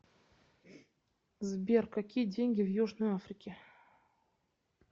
сбер какие деньги в южной африке